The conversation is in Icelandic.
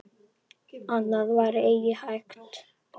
Annað var eigi hægt.